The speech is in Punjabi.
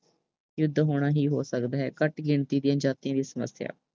ਯੁੱਧ ਹੋਣਾ ਹੀ ਹੋ ਸਕਦਾ ਹੈ। ਘੱਠ ਗਿਣਤੀ ਦੀਆਂ ਜਾਤੀਆਂ ਦੀ ਸਮੱਸਿਆ